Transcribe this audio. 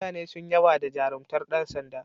Mutane sun yaba da jarumtar yan sanda.